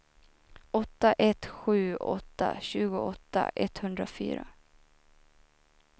åtta ett sju åtta tjugoåtta etthundrafyra